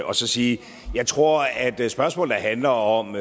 og så sige jeg tror at spørgsmål der handler om